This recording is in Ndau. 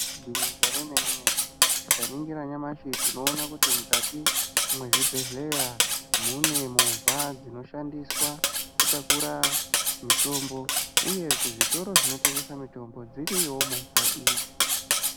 Igwinyiso remene mene tikaningira nyamashi tinoone kuti mukati mwezvibhedhleya mune movha dzinoshandiswa mitombo uye kuzvitoro zvinotengesa mitombo dziriyowo movha idzi.